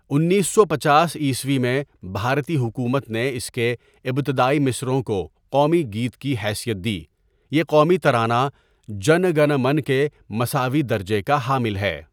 انیس سو پنچاس عیسوی میں بھارتی حکومت نے اس کے ابتدائی مصرعوں کو قومی گیت کی حیثیت دی یہ قومی ترانہ جَنا گَنا مَنا کے مساوی درجے کا حامل ہے.